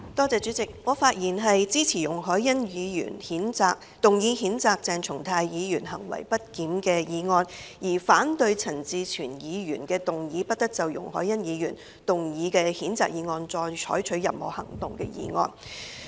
主席，我發言支持容海恩議員動議譴責鄭松泰議員行為不檢的議案，並反對陳志全議員動議"不得就容海恩議員動議的譴責議案再採取任何行動"的議案。